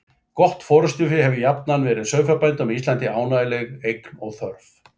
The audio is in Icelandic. Gott forystufé hefur jafnan verið sauðfjárbændum á Íslandi ánægjuleg eign og þörf.